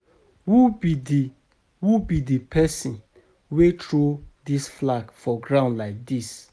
Who be the who be the person wey throw dis flag for ground like dis?